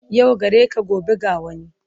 Yau gareka gobe ga wani,